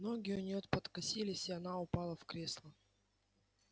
ноги у неё подкосились и она упала в кресло